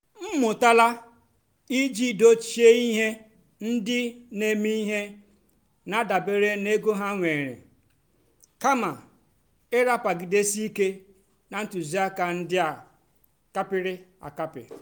m amụ́tálá ìjì dòchíé íhé ndí nà-èmè íhé nà-àdàbérè n'égó há nwèrè kàmà ị́ràpagìdésì íké nà ntụ́zìákà ndí á kàpị́rị́ àkàpị́.